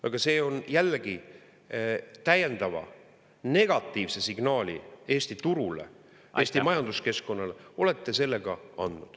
Aga see on jällegi, täiendava negatiivse signaali Eesti turule, Eesti majanduskeskkonnale olete sellega andnud.